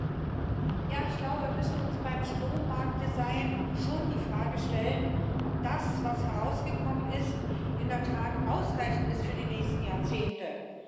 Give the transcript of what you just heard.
Frau Präsidentin! Ja, ich glaube wir müssen uns beim Strommarkt Design schon die Frage stellen, ob das, was herausgekommen ist, in der Tat ausreichend ist für die nächsten Jahrzehnte.